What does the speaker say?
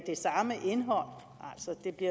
det